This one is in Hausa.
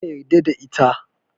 Kar ka yarda da ita.